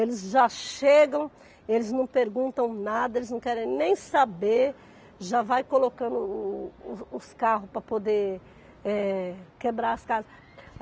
Eles já chegam, eles não perguntam nada, eles não querem nem saber, já vai colocando o os os carros para poder quebrar as casas.